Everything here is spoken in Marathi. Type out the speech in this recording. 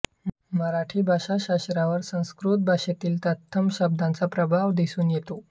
मराठी भाषाशास्त्रावर संस्कृत भाषेतील तत्सम शब्दांचा प्रभाव दिसून येतो